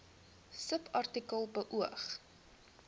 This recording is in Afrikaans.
subartikel beoog